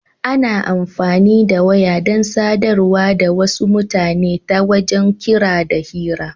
Ana amfani da waya dan sadarwa da wasu mutane ta wajen kira da hira.